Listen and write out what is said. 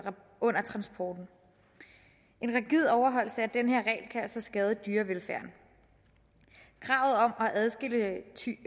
transporten en rigid overholdelse af denne regel kan altså skade dyrevelfærden kravet om at adskille tyre